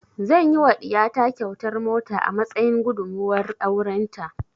Zan yi wa ɗiya ta kyautar mota a matsayin gudumuwar auren ta